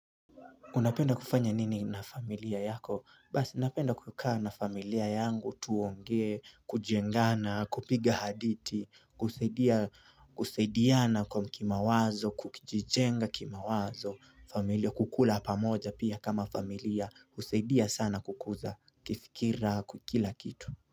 Unapenda kufanya nini na familia yako? Basi napenda kukaa na familia yangu tuongee, kujengana, kupiga hadithi, kusaidiana kwa kimawazo, kukijijenga kima wazo, familia kukula pamoja pia kama familia, kusaidia sana kukuza, kifikira, kwa kila kitu.